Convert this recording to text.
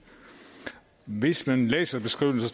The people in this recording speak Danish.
hvis man læser beskrivelsen